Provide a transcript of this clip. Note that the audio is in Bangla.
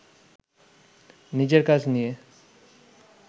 নিজের কাজ নিয়ে